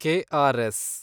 K R S